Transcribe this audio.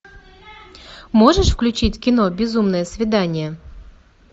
можешь включить кино безумное свидание